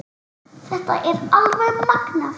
Þetta er alveg magnað.